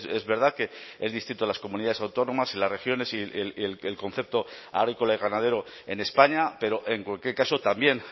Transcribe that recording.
es verdad que es distinto las comunidades autónomas y las regiones y el que el concepto agrícola y ganadero en españa pero en cualquier caso también